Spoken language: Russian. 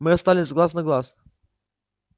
мы остались глаз на глаз